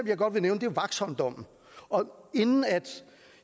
jeg godt vil nævne er vaxholmdommen og inden